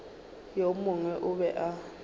yo mongwe o be a